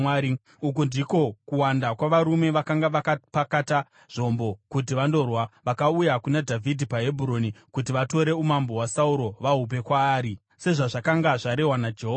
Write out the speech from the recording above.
Uku ndiko kuwanda kwavarume vakanga vakapakata zvombo kuti vandorwa, vakauya kuna Dhavhidhi paHebhuroni kuti vatore umambo hwaSauro vahupe kwaari, sezvazvakanga zvarehwa naJehovha: